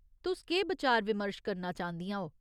तुस केह् बचार विमर्श करना चांह्दियां ओ?